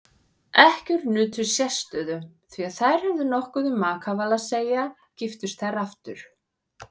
Ekkjur nutu sérstöðu því þær höfðu nokkuð um makaval að segja giftust þær aftur.